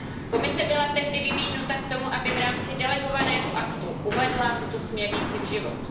Komise byla tehdy vybídnuta k tomu, aby v rámci delegovaného aktu uvedla tuto směrnici v život.